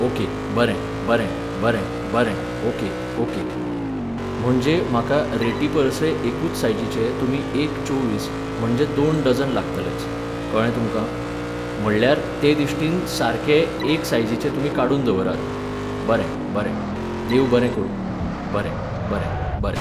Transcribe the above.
Okay बरें बरें बरें बरें ओके ओके. म्हणजे म्हाका रेटीपरसय एकूच सायझीचे तुमी एक चोव्वीस, म्हणजे दोन डजन लागतलेच. कळ्ळें तुमकां? म्हणल्यार ते दिश्टीन सारके एक सायझीचे तुमी काडून दवरात. बरें बरें, देव बरें करूं, बरें बरें बरें